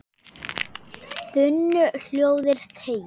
þunnu hljóði þegir